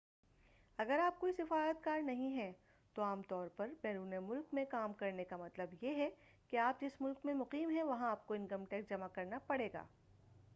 اگر آپ کوئی سفارت کار نہیں ہیں تو عام طور پر بیرون ملک میں کام کرنے کا مطلب یہ ہے کہ آپ جس ملک میں مقیم ہیں وہاں آپکو انکم ٹیکس جمع کرنا پڑے گا